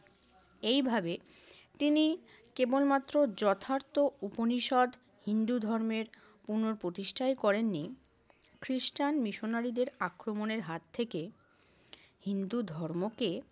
এইভাবে তিনি কেবলমাত্র যথার্থ উপনিষদ হিন্দু ধর্মের পুনঃপ্রতিষ্ঠাই করেননি, খ্রিষ্টান মিশনারীদের আক্রমণের হাত থেকে হিন্দু ধর্মকে